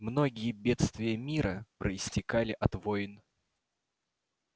многие бедствия мира проистекали от войн